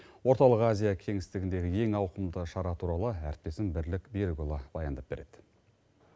орталық азия кеңістігіндегі ең ауқымды шара туралы әріптесім бірлік берікұлы баяндап береді